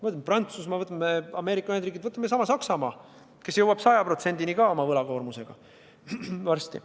Võtame Prantsusmaa või Ameerika Ühendriigid, võtame Saksamaa, kelle võlakoormus on varsti 100%.